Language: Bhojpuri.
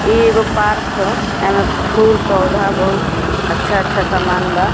इ एगो पार्क ह एमे फूल-पौधा बहुत अच्छा-अच्छा समान बा।